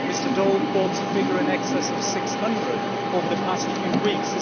Mr Daul quotes a figure in excess of 600 over the past few weeks.